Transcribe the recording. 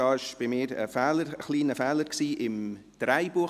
Das war ein kleiner Fehler bei mir Drehbuch.